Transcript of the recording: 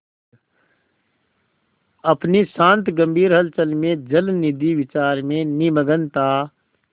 अपनी शांत गंभीर हलचल में जलनिधि विचार में निमग्न था